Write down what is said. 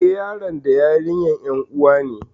Eh, yaron da yarinyar ƴan uwa ne